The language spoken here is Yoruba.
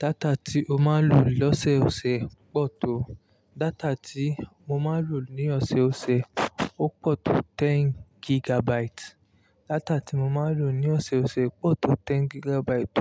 Data tí o máa ń lò lọ́sẹ̀ ọ̀sẹ̀ pọ̀ tó, data tí mo máa ń lò ní ọ̀sẹ̀ ọ̀sẹ̀ ó pọ̀ tó ten gigabyte, data tí mo máa ń lò ní ọ̀sẹ̀ ọ̀sẹ̀ pọ̀ tó ten gigabyte